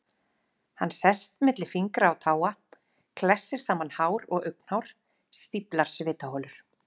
Hann sest milli fingra og táa, klessir saman hár og augnhár, stíflar svitaholur.